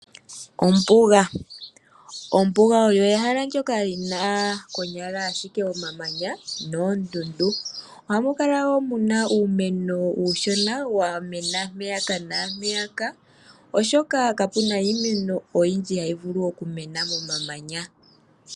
Ombuga oyo ehala ndyoka lina konyala ashike omamanya noondundu, ohamu kala woo muna uumeno uushona wa mena mpeyaka naampeyaka, oshoka kapuna iimeno oyindji hayi vulu oku mena momamanya.